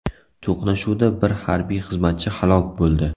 To‘qnashuvda bir harbiy xizmatchi halok bo‘ldi.